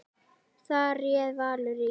Þar réð Valur ríkjum.